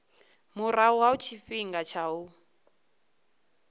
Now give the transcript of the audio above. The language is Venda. murahu ha tshifhinga tsha u